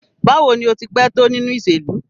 Bawo ni o ti pẹ to ninu iṣelu?